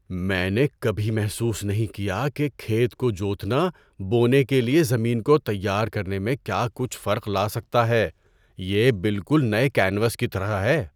میں نے کبھی محسوس نہیں کیا کہ کھیت کو جوتنا بونے کے لیے زمین کو تیار کرنے میں کیا کچھ فرق لا سکتا ہے۔ یہ بالکل نئے کینوس کی طرح ہے!